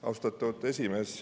Austatud esimees!